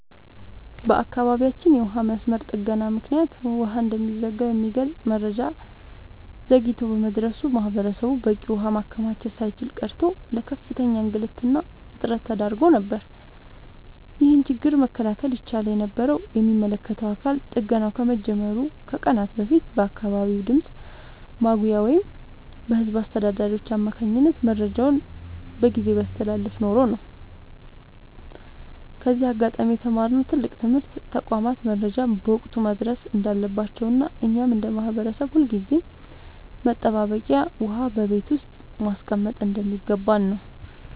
በአካባቢያችን የውሃ መስመር ጥገና ምክንያት ውሃ እንደሚዘጋ የሚገልጽ መረጃ ዘግይቶ በመድረሱ ማህበረሰቡ በቂ ውሃ ማከማቸት ሳይችል ቀርቶ ለከፍተኛ እንግልትና እጥረት ተዳርጎ ነበር። ይህንን ችግር መከላከል ይቻል የነበረው የሚመለከተው አካል ጥገናው ከመጀመሩ ከቀናት በፊት በአካባቢው ድምፅ ማጉያ ወይም በህዝብ አስተዳዳሪዎች አማካኝነት መረጃውን በጊዜ ቢያስተላልፍ ኖሮ ነው። ከዚህ አጋጣሚ የተማርነው ትልቅ ትምህርት ተቋማት መረጃን በወቅቱ ማድረስ እንዳለባቸውና እኛም እንደ ማህበረሰብ ሁልጊዜም መጠባበቂያ ውሃ በቤት ውስጥ ማስቀመጥ እንደሚገባን ነው።